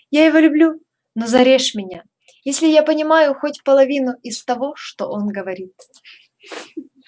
я его люблю но зарежь меня если я понимаю хоть половину из того что он говорит